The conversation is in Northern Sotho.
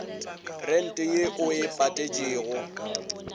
rente ye o e patetšego